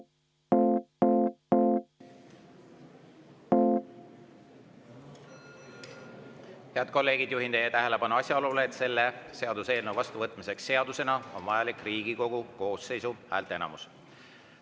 Head kolleegid, juhin teie tähelepanu asjaolule, et selle seaduseelnõu vastuvõtmiseks seadusena on vajalik Riigikogu koosseisu häälteenamus.